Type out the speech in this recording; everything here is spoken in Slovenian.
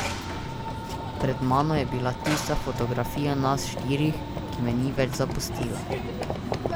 Pred mano je bila tista fotografija nas štirih, ki me ni več zapustila.